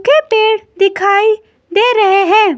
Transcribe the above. Keypad दिखाई दे रहे है।